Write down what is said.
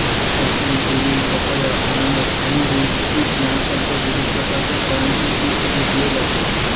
संत्री केळी पपया अननस आणि रूट पीक यांसारख्या विविध प्रकारच्या फळांचे पीक घेतले जाते